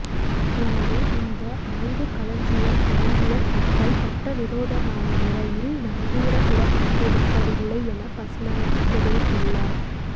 எனவே இந்த ஆயுதக் களஞ்சியம் அடங்கிய கப்பல் சட்டவிரோதமான முறையில் நங்கூரமிடப்பட்டிருக்கவில்லை என பஸ்நாயக்க தெரிவித்துள்ளார்